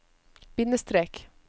bindestrek